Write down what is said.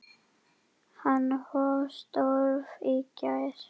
Hann hóf störf í gær.